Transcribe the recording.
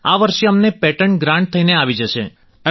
આ વર્ષે અમને પેટન્ટ ગ્રાન્ટ થઈને આવી જશે